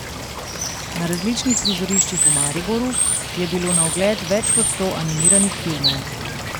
Na različnih prizoriščih v Mariboru je bilo na ogled več kot sto animiranih filmov.